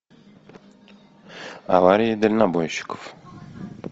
аварии дальнобойщиков